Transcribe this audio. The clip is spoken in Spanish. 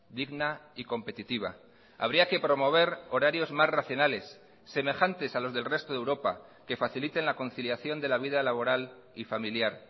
digna y competitiva habría que promover horarios más racionales semejantes a los del resto de europa que faciliten la conciliación de la vida laboral y familiar